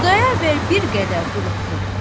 Xudayar bəy bir qədər duruxdu.